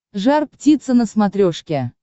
жар птица на смотрешке